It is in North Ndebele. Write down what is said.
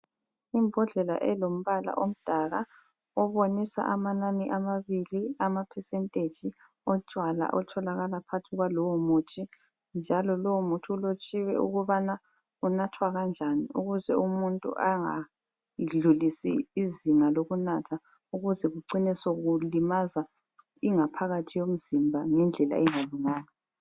Imbhodlela elombala yomdaka obonisa amanani amabili ama percentage otshwala otholakala phakathi kwalowomuthi ,njalo lowomuthi ulotshiwe ukubana unathwa kanjani ukuze umuntu engadlulisi izinga lokunatha ukuze kucine sokulimaza ingaphakathi yomzimba ngendlela engalunganga